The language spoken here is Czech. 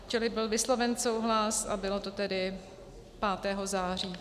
Čili byl vysloven souhlas a bylo to tedy 5. září.